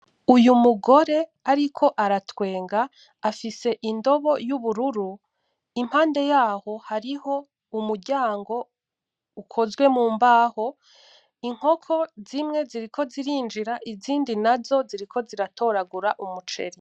Uyu mugore ariko aratwenga afise indobo yubururu, impande yaho hariho umuryango ukozwe mu mbaho, inkoko zimwe ziriko zirinjira izindi nazo ziriko ziratoragura umuceri.